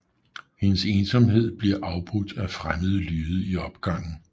Hendes ensomhed bliver afbrudt af fremmede lyde i opgangen